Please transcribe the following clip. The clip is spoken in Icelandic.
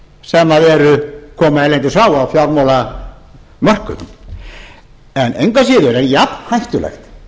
sem koma erlendis frá á fjármálamörkuðum en engu að síður er jafn hættulegt